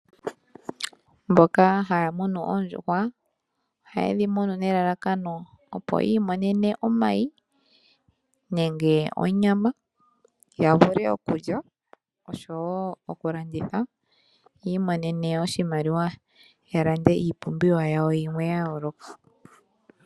Mboka haya munu oondjuhwa ohaye dhi munu nelalakano opo yi imonene omayi nenge onyama ya vule okulya osho wo okulanditha yiimonene oshimaliwa ya lande iipumbiwa yawo yilwe.